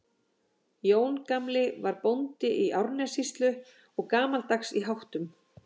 Jón gamli var bóndi í Árnessýslu og gamaldags í háttum.